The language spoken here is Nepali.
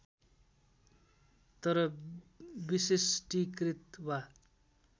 तर विशिष्टीकृत वा